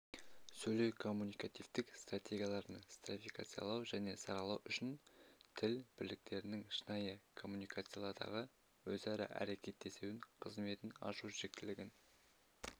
сөйлеу-коммуникативтік стратегияларын стратификациялау және саралау үшін тіл бірліктерінің шынайы коммуникациядағы өзара әрекеттесуінің қызметін ашу қажеттілігін